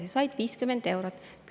Kõik said 50 eurot.